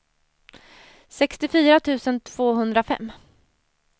sextiofyra tusen tvåhundrafem